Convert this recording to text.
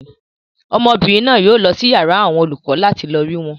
Ọmọbìnrin náà yóò lọ sí yàrá àwọn olùkọ láti lọ rí wọn.